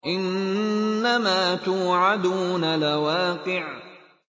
إِنَّمَا تُوعَدُونَ لَوَاقِعٌ